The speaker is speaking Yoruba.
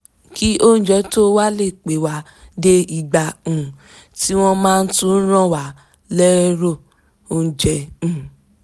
kí oúnjẹ tó wà le pé wa dé igba um tí wọ́n máa tún rán wa lẹ́rò oúnjẹ um